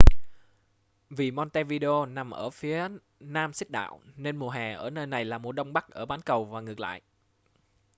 vì montevideo nằm ở phía nam xích đạo nên mùa hè ở nơi này là mùa đông ở bắc bán cầu và ngược lại